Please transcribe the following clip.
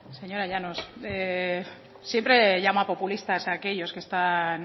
señora llanos siempre llama populistas a aquellos que están